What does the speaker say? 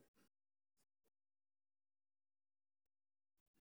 Aqoonsiga ayaa muhiim u ah badbaadada bulshada.